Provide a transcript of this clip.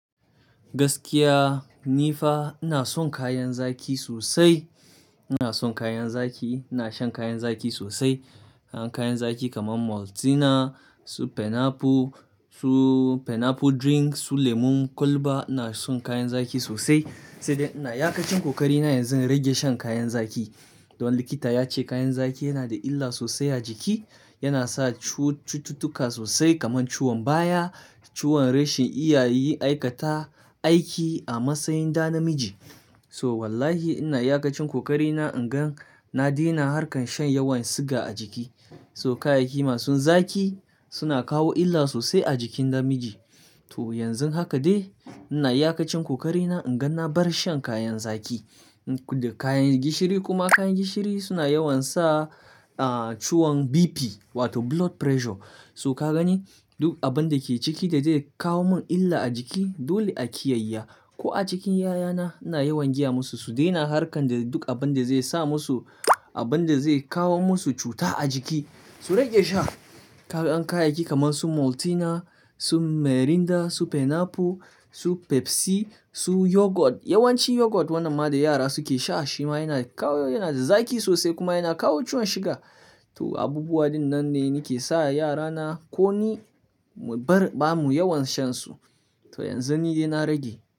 Gaskiya nifa ina son kayan zaki sosai. Ina son kayan zaki, ina shan kayan zaki sosai. Kayan zaki kaman Maltina, su pineapple, su pineapple drink, su lemon kwalba. Ina son kayan zaki sosai sai dai ina iyakacin kokarina yanzu in rage shan kayan zaki. Domin likita yace kayan zaki yana da illa sosai a jiki. Yana sa cututtuka sosai kaman ciwon baya, ciwon reshin iyayen aikata aiki a matsayin ɗa namiji. So wallahi ina yakacin kokarina inga na daina harkan shan yawan siga a jiki. So kayayyaki masu zaki suna kawo illa sosai a jikin ɗa miji. To yanzu haka dai ina yakacin kokarina inga na bar shan kayan zaki da kayan gishiri. Kuma kayan gishiri suna yawan sa, ah, ciwon BP wato blood pressure. So ka gani duk abun dake ciki da zai kawo mun illa a jiki dole a kiyayya. Ko a cikin yayana ina yawan gaya musu su daina harkan da duk abun da zai sa musu abun da zai kawo musu cuta a jiki. Su rage sha kayayyaki kaman su Maltina, su Mirinda, su pineapple, su Pepsi, su yogurt. Yawanci yogurt wannan ma da yara suke sha shi ma yana kawo, yana da zaki sosai kuma yana kawo ciwon siga. To abubuwa din nan ne nake sa yarana ko ni mu bar, ba mu yawan shan su. To yanzu ni dai na rage.